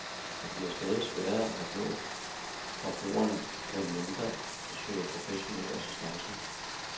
Det bliver stadig sværere at nå forbrugerne, medmindre de søger professionel assistance.